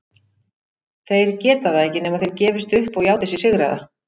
Þeir geta það ekki nema þeir gefist upp og játi sig sigraða.